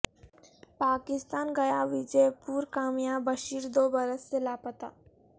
پاکستان گیا وجے پور کا میاں بشیر دو برس سے لاپتہ